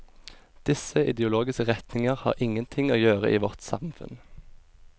Disse ideologiske retninger har ingenting og gjøre i vårt samfunn.